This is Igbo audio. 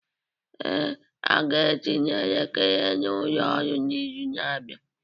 Ee, aga etinye elekere n'ụlọ ọrụ n'izu na-abịa.